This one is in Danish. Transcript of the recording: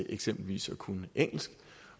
eksempelvis at kunne engelsk